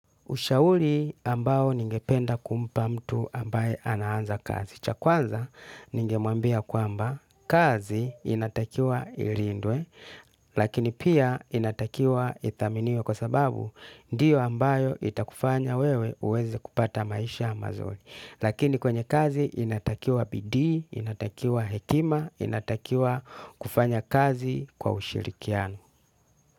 Ushauri ambao ningependa kumpa mtu ambaye anaanza kazi. Cha kwanza ningemwambia kwamba kazi inatakiwa ilindwe, lakini pia inatakiwa ithaminiwe kwa sababu ndiyo ambayo itakufanya wewe uweze kupata maisha mazuri. Lakini kwenye kazi inatakiwa bidii, inatakiwa hekima, inatakiwa kufanya kazi kwa ushirikiano.